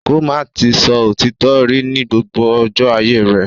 Ko máa ti sọ òtítọ rí ní gbogbo ọjọ́ ayé rẹ̀.